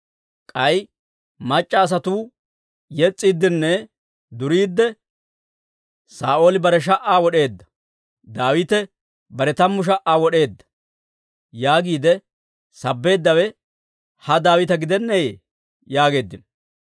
K'ay mac'c'a asatuu yes's'iiddinne duriidde, ‹Saa'ooli bare sha"aa wod'eedda; Daawite bare tammu sha"aa wod'eedda› yaagiide sabbeeddawe ha Daawita gidenneeyye?» yaageeddino.